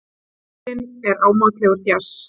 Tónlistin er ámátlegur djass.